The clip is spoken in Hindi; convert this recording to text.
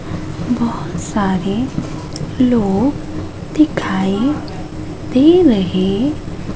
बहोत सारे लोग दिखाई दे रहे--